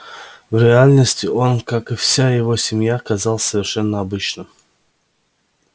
в реальности он как и вся его семья казался совершенно обычным